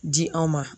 Di anw ma